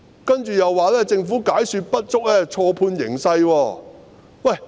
接着，她又說政府解說不足，錯判形勢。